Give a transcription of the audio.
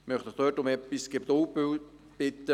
Ich möchte Sie um etwas Geduld bitten.